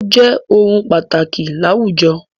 Ó jẹ́ ohun pàtàkì láwùjọ.